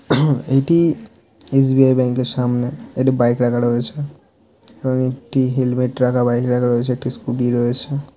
এটি SBI. Bank -এর সামনে একটি বাইক রাখা রয়েছে এবং একটি হেলমেট রাখা বাইক রাখা রয়েছে একটি স্ক্যুটি রয়েছে।